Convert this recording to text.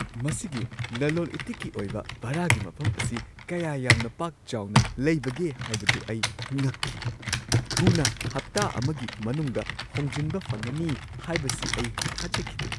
ꯃꯁꯤꯒꯤ ꯂꯂꯣꯜ-ꯏꯇꯤꯛꯀꯤ ꯑꯣꯏꯕ ꯚꯥꯔꯥꯒꯤ ꯃꯐꯝ ꯑꯁꯤ ꯀꯌꯥ ꯌꯥꯝꯅ ꯄꯥꯛ ꯆꯥꯎꯅ ꯂꯩꯕꯒꯦ ꯍꯥꯏꯕꯗꯨ ꯑꯩ ꯉꯛꯈꯤ ꯫ ꯊꯨꯅ ꯍꯞꯇꯥ ꯑꯃꯒꯤ ꯃꯅꯨꯡꯗ ꯍꯣꯡꯖꯤꯟꯕ ꯐꯪꯒꯅꯤ ꯍꯥꯏꯕꯁꯤ ꯑꯩ ꯊꯥꯖꯈꯤꯗꯦ!